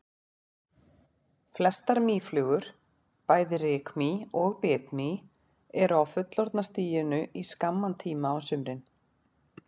Flestar mýflugur, bæði rykmý og bitmý eru á fullorðna stiginu í skamman tíma á sumrin.